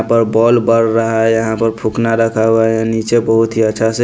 ball बर रहा है यहाँ पर फुकना रखा हुआ है नीचे बहुत ही अच्छा से --